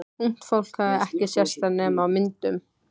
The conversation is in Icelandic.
Ungt fólk hafði ekki sést þar nema á myndum.